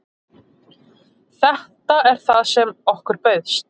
Þetta er það sem okkur bauðst